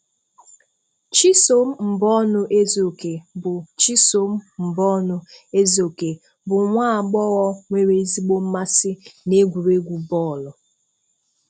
Chisom Mbonu-Ezeoke bụ Chisom Mbonu-Ezeoke bụ nwa agbọghọ nwere ezigbo mmasị na egwuregwu bọọlụ.